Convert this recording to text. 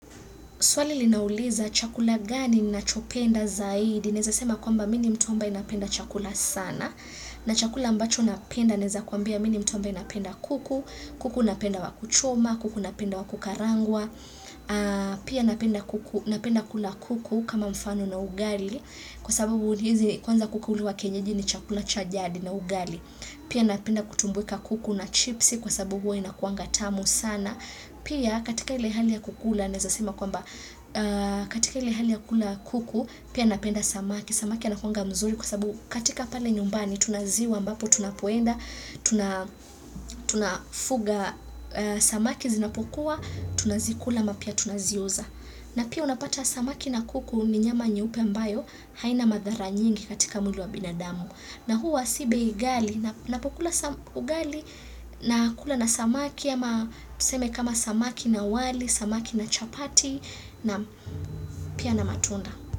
Swali linauliza, chakula gani unachopenda zaidi? Naweza sema kwamba mimi ni mtu ambaye napenda chakula sana. Na chakula ambacho napenda naweza kwambia mimi ni mtu ambaye napenda kuku. Kuku napenda wa kuchoma, kuku napenda wakukarangwa. Pia napenda kula kuku kama mfano na ugali. Kwa sababu hizi, kwanza kuku huliwa kienyeji ni chakula cha jadi na ugali. Pia napenda kutumbuika kuku na chipsi, kwa sababu huwa inakuanga tamu sana. Pia, katika ile hali ya kukula naweza sema kwamba, katika ile hali ya kula kuku pia napenda samaki, samaki anakuwanga mzuri kwasabu, katika pale nyumbani tuna ziwa ambapo tunapoenda tunafuga samaki zinapokua, tunazikula ama pia tunaziuza na pia unapata, samaki na kuku, ni nyama nyeupe ambayo haina madhara nyingi katika mwili wa binadamu, na huwa si bei ghali napokula sam ugali nakula na samaki ama, tuseme kama samaki na wali, samaki na chapati, na pia na matunda.